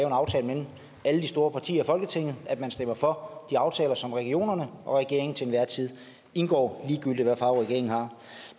en aftale mellem alle de store partier i folketinget at man stemmer for de aftaler som regionerne og regeringen til enhver tid indgår ligegyldigt hvad farve regeringen har